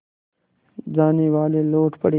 जानेवाले लौट पड़े